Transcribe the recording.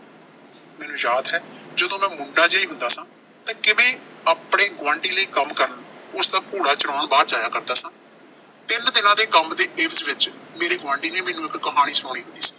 ਮੈਨੂੰ ਯਾਦ ਹੈ ਜਦੋਂ ਮੈਂ ਮੁੰਡਾ ਜਿਆ ਹੀ ਹੁੰਦਾ ਸਾਂ ਤਾਂ ਕਿਵੇਂ ਆਪਣੇ ਗੁਆਂਢੀ ਲਈ ਕੰਮ ਕਰਨ, ਉਸਦਾ ਘੋੜਾ ਚਰਾਉਣ ਬਾਹਰ ਜਾਇਆ ਕਰਦਾ ਸਾਂ। ਤਿੰਨ ਦਿਨਾਂ ਦੇ ਕੰਮ ਦੇ ਇਵਜ਼ ਵਿੱਚ ਮੇਰੇ ਗੁਆਂਡੀ ਨੇ ਮੈਨੂੰ ਇੱਕ ਕਹਾਣੀ ਸੁਣਾਉਣੀ